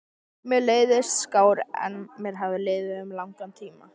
Mér leið skár en mér hafði liðið um langan tíma.